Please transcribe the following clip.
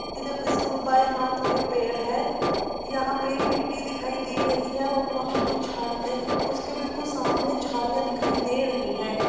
बाये हाथ पर पेड़ है यहाँ पर मिट्टी दिखाई दे रही है और वहां पर झाड़ी है | उसके बिलकुल सामने झाड़ियाँ दिखाई दे रहीं हैं ।